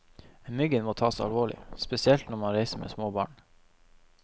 Myggen må taes alvorlig, spesielt når man reiser med små barn.